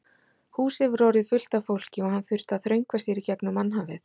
Húsið var orðið fullt af fólki og hann þurfti að þröngva sér í gegnum mannhafið.